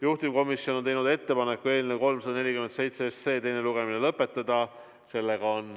Juhtivkomisjon on teinud ettepaneku eelnõu 347 teine lugemine lõpetada.